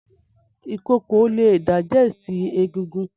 Ìkokò le digest egigun